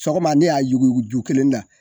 Sɔgɔma ne y'a yugu ju kelen ta.